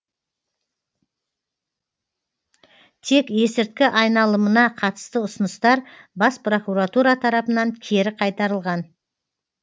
тек есірткі айналымына қатысты ұсыныстар бас прокуратура тарапынан кері қайтарылған